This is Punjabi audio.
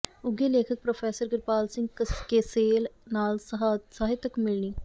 ਉਘੇ ਲੇਖਕ ਪ੍ਰੋਫੈਸਰ ਕਿਰਪਾਲ ਸਿੰਘ ਕਸੇਲ ਨਾਲ ਸਾਹਿਤਕ ਮਿਲਣੀ